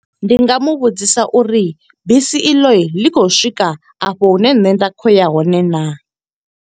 Ndi nga mu vhudzisa uri bisi i ḽo ḽi khou swika afho hune nṋe nda khou ya hone naa.